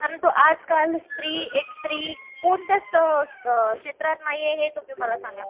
परंतु आज काल स्त्री एक स्त्री, कोणत्या क्षेत्रात नाहीये हे तुम्ही सांगा